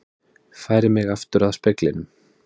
Færi mig aftur að speglinum.